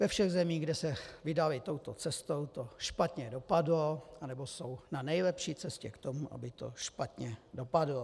Ve všech zemích, kde se vydali touto cestou, to špatně dopadlo nebo jsou na nejlepší cestě k tomu, aby to špatně dopadlo.